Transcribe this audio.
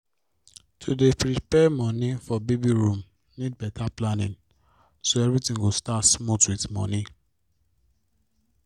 to dey prepare moni for baby room need better planning so everything go start smooth with moni